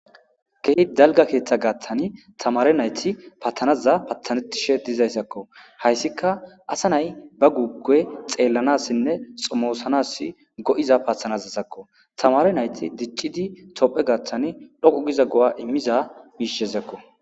gehi dalga keeththa gaaththani tamare nayti paathanaza pathanettishe dizayssakko hayssika asa nay ba guukey xeellanassinne xomoosanas go7iza pathanazasakko tamare nayti diccidi tophe gaathtan dhoqu giza go7a immiza biishezakko